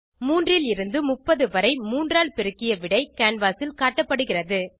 3 லிருந்து 30 வரை மூன்றால் பெருக்கிய விடை கேன்வாஸ் ல் காட்டப்படுகிறது